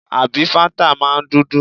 Àbí fáńtà máa ń dúdú?